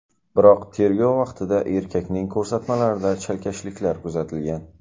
Biroq tergov vaqtida erkakning ko‘rsatmalarida chalkashliklar kuzatilgan.